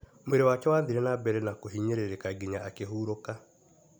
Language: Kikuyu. Mwĩrĩ wake wathire na mbere na kuhinyĩrĩka nginya akĩhurũka.